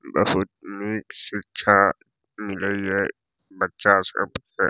बहुत निक शिक्षा मिलय ये बच्चा सब के।